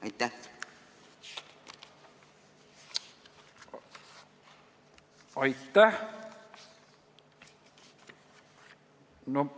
Aitäh!